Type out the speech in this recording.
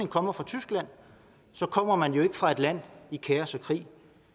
kommer fra tyskland kommer man jo ikke fra et land i kaos og krig